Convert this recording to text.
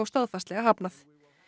staðfastlega hafnað